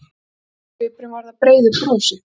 Undrunarsvipurinn varð að breiðu brosi.